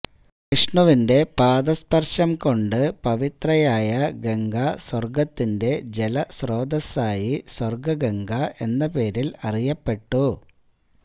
വിഷ്ണുവിന്റെ പാദസ്പര്ശം കൊണ്ടു പവിത്രയായ ഗംഗ സ്വര്ഗത്തിന്റെ ജലസ്രോതസ്സായി സ്വര്ഗ്ഗംഗ എന്നപേരില് അറിയപ്പെട്ടു